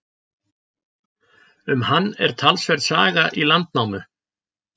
Um hann er talsverð saga í Landnámu.